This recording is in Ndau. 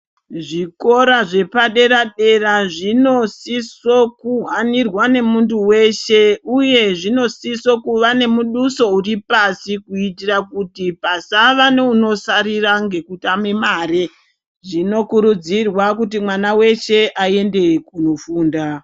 Zvikora zvepadera dera Zvinosisa kuhainirwa nemuntu weshe uye unosisa kunge une muduso kuitira kuti pasava neunisara kana kutamba mare zvinokurudzirwa kuti mwana weshe aende kofunda.